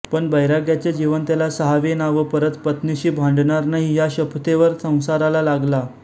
पण बैराग्याचे जीवन त्याला साहवेना व परत पत्नीशी भांडणार नाही या शपथेवर संसाराला लागला